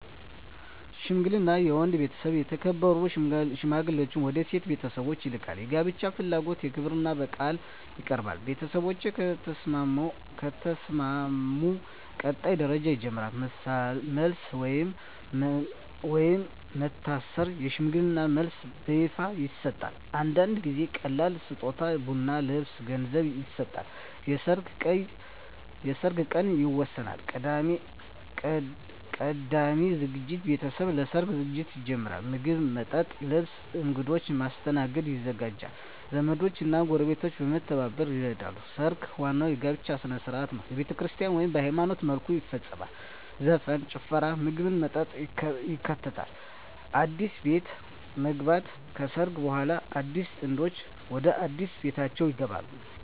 ሽምግልና የወንድ ቤተሰብ የተከበሩ ሽማግሌዎችን ወደ የሴት ቤተሰብ ይልካል። የጋብቻ ፍላጎት በክብርና በቃል ይቀርባል። ቤተሰቦች ከተስማሙ ቀጣይ ደረጃ ይጀምራል። መልስ (ወይም መታሰር) የሽምግልና መልስ በይፋ ይሰጣል። አንዳንድ ጊዜ ቀላል ስጦታ (ቡና፣ ልብስ፣ ገንዘብ) ይሰጣል። የሰርግ ቀን ይወሰናል። ቀዳሚ ዝግጅት ቤተሰቦች ለሰርግ ዝግጅት ይጀምራሉ። ምግብ፣ መጠጥ፣ ልብስ እና እንግዶች ማስተናገድ ይዘጋጃል። ዘመዶች እና ጎረቤቶች በመተባበር ይረዳሉ። ሰርግ ዋናው የጋብቻ ሥነ ሥርዓት ነው። በቤተክርስቲያን (ወይም በሃይማኖታዊ መልኩ) ይፈጸማል። ዘፈን፣ ጭፈራ፣ ምግብና መጠጥ ይከተላል። አዲስ ቤት መግባት (ከሰርግ በኋላ) አዲሱ ጥንድ ወደ አዲስ ቤታቸው ይገባሉ።